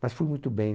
Mas fui muito bem.